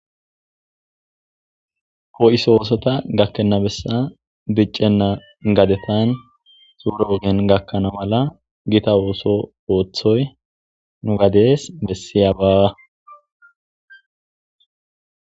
po7iso oosota gakkennabessa diccenna gadetan xuuro ogen gakkana mala gita ooso ooththoy nu gadees bessiya baawa